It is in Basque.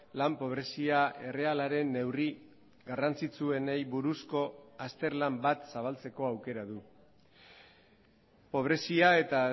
lan pobrezia errealaren neurri garrantzitsuenei buruzko azterlan bat zabaltzeko aukera du pobrezia eta